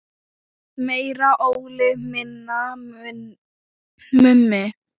Meira Óli, minna Mummi!